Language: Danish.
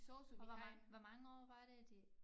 Og hvor mange hvor mange år var det det